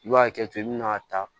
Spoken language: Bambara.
I b'a hakɛto i bi n'a ta